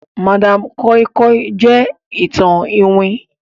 madam koi koi jẹ ìtàn iwin.